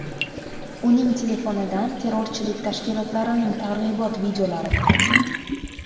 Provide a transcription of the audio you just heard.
Uning telefonidan terrorchilik tashkilotlarining targ‘ibot videolari topilgan.